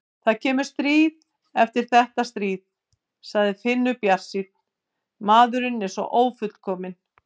Það kemur stríð eftir þetta stríð, sagði Finnur bjartsýnn, maðurinn er svo ófullkominn.